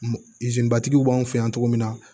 batigiw b'an fɛ yan cogo min na